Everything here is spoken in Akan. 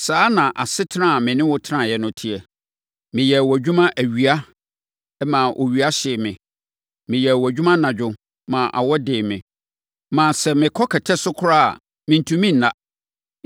Saa na asetena a me ne wo teɛ no teɛ. Meyɛɛ wʼadwuma awia maa owia hyee me. Meyɛɛ wʼadwuma anadwo maa awɔ dee me, maa sɛ, mekɔ kɛtɛ so koraa a, mentumi nna.